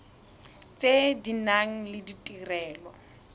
tse di nang le ditirelo